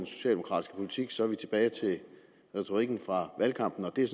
socialdemokratisk politik så er vi tilbage ved retorikken fra valgkampen og det er